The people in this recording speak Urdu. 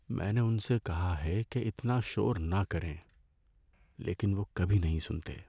میں نے ان سے کہا ہے کہ اتنا شور نہ کریں، لیکن وہ کبھی نہیں سنتے۔